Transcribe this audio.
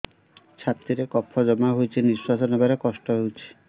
ଛାତିରେ କଫ ଜମା ହୋଇଛି ନିଶ୍ୱାସ ନେବାରେ କଷ୍ଟ ହେଉଛି